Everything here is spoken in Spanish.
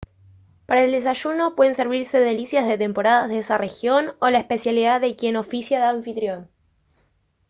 para el desayuno pueden servirse delicias de temporada de esa región o la especialidad de quien oficia de anfitrión